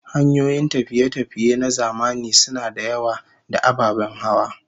Hanyoyin tafiye-tafiye na zamani suna da yawa, da ababen hawa